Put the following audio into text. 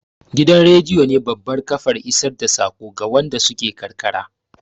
Gidan rediyo ne babbar kafar isar da saƙo ga waɗanda suke karkara